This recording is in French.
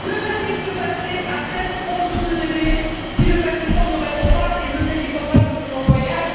Que va t il se passer après les trente jours de délai si le Pakistan ne répond pas et ne délivre pas de document de voyage?